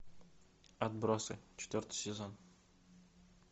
отбросы четвертый сезон